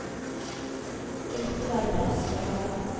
Det måtte være plass for alle.